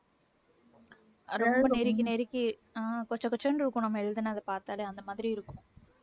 அதாவது நெருக்கி நெருக்கி அஹ் கொச கொசன்னு இருக்கும் நம்ம எழுதுனதை பாத்தாலே அந்த மாதிரி இருக்கும்